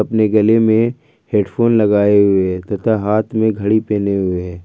अपनी गले में हेडफोन लगाए हुए है तथा हाथ में घड़ी पहने हुए हैं।